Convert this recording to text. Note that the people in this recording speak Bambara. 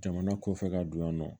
Jamana kɔfɛ ka don yan nɔ